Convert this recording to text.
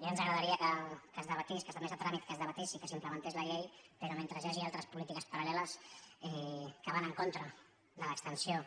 ja ens agradaria que es debatés que s’admetés a tràmit que es debatés i que s’implementés la llei però mentre hi hagi altres polítiques paral·leles que van en contra de l’extensió